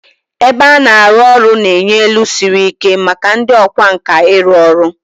Ebe a na-arụ ọrụ na-enye elu siri ike maka ndị ọkwá nkà ịrụ ọrụ